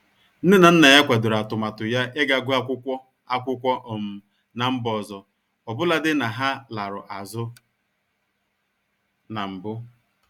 Nne na nna ya kwadoro atụmatụ ya iga guọ akwụkwọ akwụkwọ um na mba ọzọ, ọbụlagodi na ha larụ azụ na mbụ.